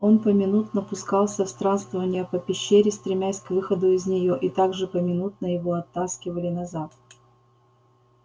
он поминутно пускался в странствования по пещере стремясь к выходу из неё и так же поминутно его оттаскивали назад